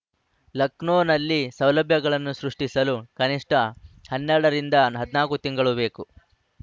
ಲಖನೌನಲ್ಲಿ ಸೌಲಭ್ಯಗಳನ್ನು ಸೃಷ್ಟಿಸಲು ಕನಿಷ್ಠ ಹನ್ನೆರಡ ರಿಂದ ಹದಿನಾಕು ತಿಂಗಳು ಬೇಕು